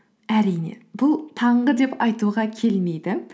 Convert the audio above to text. әрине бұл таңғы деп айтуға келмейді